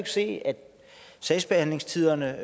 se at sagsbehandlingstiderne